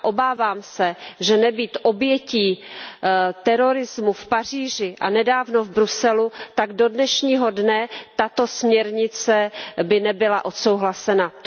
Obávám se, že nebýt obětí terorismu v Paříži a nedávno v Bruselu, tak do dnešního dne by tato směrnice nebyla odsouhlasena.